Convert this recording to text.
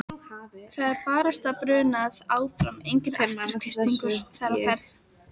Það er barasta brunað áfram, engir afturkreistingar þar á ferð.